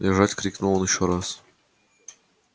лежать крикнул он ещё раз